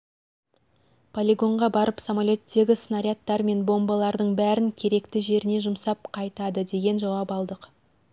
полигонға барып самолеттегі снарядтар мен бомбалардың бәрін керекті жеріне жұмсап қайтады деген жауап алдық